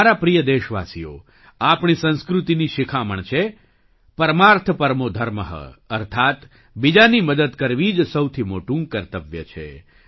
મારા પ્રિય દેશવાસીઓ આપણી સંસ્કૃતિની શીખામણ છે परमार्थपरमोधर्मःઅર્થાત્ બીજાની મદદ કરવી જ સૌથી મોટું કર્તવ્ય છે